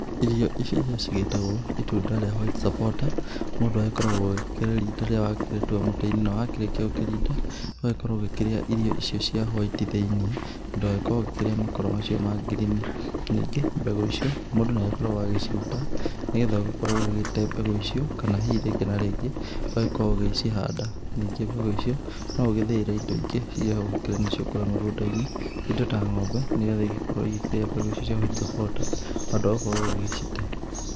Irio ici cigĩtagwo itunda rĩa white supporter mũndũ agĩkoragwo ũgĩkĩrĩrinda rĩrĩa wakĩrĩkia gũkĩrĩtua mũtĩ-inĩ. Na wakĩrĩkia gũkĩrinda ũgagĩkorwo ũgĩkĩrĩa irio icio cia hwaiti thĩiniĩ na ndũgagĩkorwo ũgĩkirĩa makoro macio ma green. Ningĩ mbegũ ici mũndũ nĩ agĩkoragwo agĩciruta, nĩgetha ũgĩgĩkorwo ũgĩte mbegũ icio. Kana hihi rĩngĩ na rĩngĩ ũgagĩkorwo ũgicihanda, ningĩ mbegũ icio no ũgĩthĩĩre indo ingĩ irĩa hau ũkĩrĩ nacio kũrĩa mĩgũnda-inĩ indo ta ng'ombe, nĩgetha igĩgĩkorwo ikĩrĩa mbegũ ici cia white supporter handũ ha gũkorwo ũgĩgĩcite.